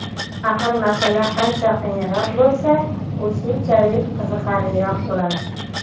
Axir masala qancha qiyinroq bo‘lsa, u shunchalik qiziqarliroq bo‘ladi.